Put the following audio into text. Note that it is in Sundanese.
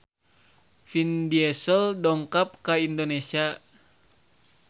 Vin Diesel dongkap ka Indonesia